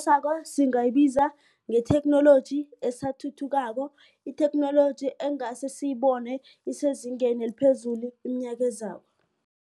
singayibiza ngetheknoloji esathuthukako itheknoloji engasr siyibone isezingeni eliphezulu iminyaka ezako